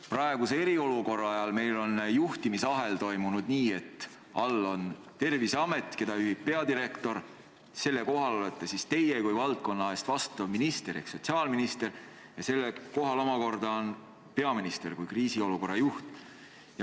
Praeguse eriolukorra ajal on juhtimisahel toiminud nii, et all on Terviseamet, mida juhib peadirektor, selle kohal olete teie kui valdkonna eest vastutav minister ehk sotsiaalminister ja teie kohal omakorda on peaminister kui kriisiolukorra juht.